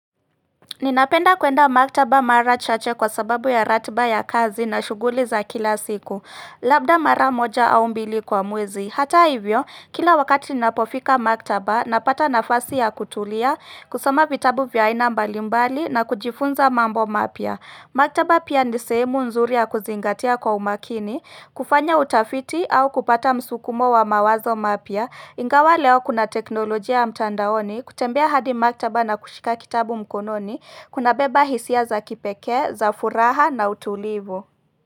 Ninapenda kwenda maktaba mara chache kwa sababu ya ratba ya kazi na shuguli za kila siku, labda mara moja au mbili kwa mwezi. Hata hivyo, kila wakati napofika maktaba, napata nafasi ya kutulia, kusoma vitabu vya aina mbalimbali na kujifunza mambo mapya. Maktaba pia nisehemu nzuri ya kuzingatia kwa umakini, kufanya utafiti au kupata msukumo wa mawazo mapya, ingawa leo kuna teknolojia ya mtandaoni kutembea hadi maktaba na kushika kitabu mkononi kuna beba hisia za kipekee, za furaha na utulivu.